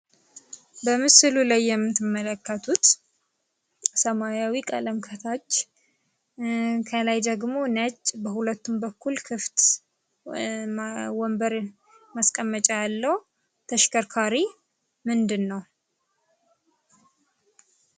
በምስሉ ላይ የምትመለከቱት ሰማያዊ ቀለም ከታች፣ ከላይ ደግሞ ነጭ በሁለቱም በኩል ክፍት፣ ወንበርን ማስቀመጫ ያለው ተሽከርካሪ ምንድን ነው?